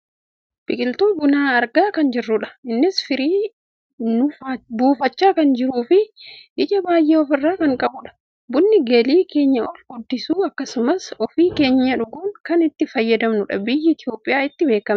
biqiltuu buna argaa kan jirrudha. innis firii nuufachaa kan jiruufi ija baayyee of irraa kan qabudha. bunni galii keenya ol guddisuu akkasumas ofii keenyaa dhuguun kan itti fayyadamnudha. biyyi Itoopiyaa ittiin beekkamti.